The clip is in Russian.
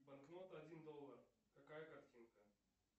банкнота один доллар какая картинка